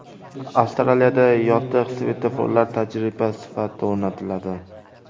Avstraliyada yotiq svetoforlar tajriba sifatida o‘rnatiladi.